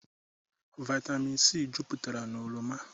Vaịtamịn sii juputara n'oroma.